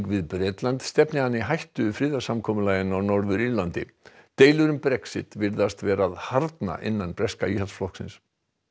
við Bretland stefni hann í hættu friðarsamkomulaginu á Norður Írlandi deilur um Brexit virðast vera að harðna innan breska Íhaldsflokksins